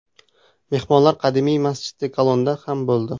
Mehmonlar qadimiy Masjidi Kalonda ham bo‘ldi.